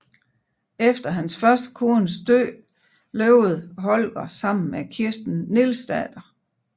Efter hans første kones død levede Holger sammen med Kirsten Nielsdatter